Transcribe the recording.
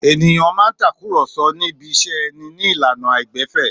Èniyàn máa ń takùrọ̀so ní ibiṣẹ́ ẹni ní ìlànà àìgbẹ̀fẹ̀.